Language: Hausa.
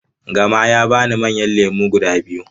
Gama ya bani manyan lemu guda biyu.